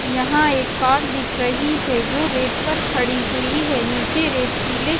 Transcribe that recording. यहां एक कार दिख रही है जो रेत पर खड़ी हुई है नीचे रेत पीले--